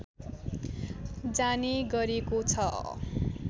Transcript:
जाने गरेको छ